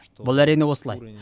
бұл әрине осылай